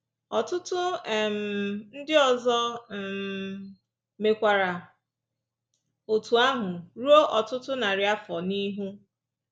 Ọtụtụ um ndị ọzọ um mekwara otú ahụ ruo ọtụtụ narị afọ n’ihu.